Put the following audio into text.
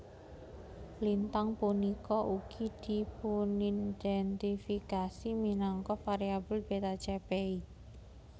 Lintang punika ugi dipunindhèntifikasi minangka variabel Beta Chepei